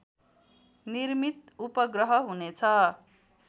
निर्मित उपग्रह हुनेछ